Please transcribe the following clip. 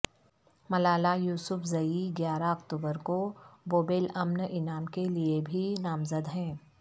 ملالہ یوسفزئی گیارہ اکتوبر کو بوبیل امن انعام کے لیے بھی نامزد ہیں